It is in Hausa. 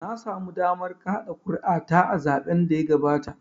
Na samu damar kaɗa kuri'a ta a zaɓen da ya gabata.